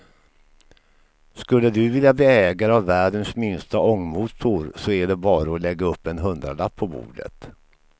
Skulle du vilja bli ägare av världens minsta ångmotor så är det bara att lägga upp en hundralapp på bordet.